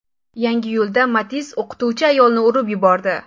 Yangiyo‘lda Matiz o‘qituvchi ayolni urib yubordi.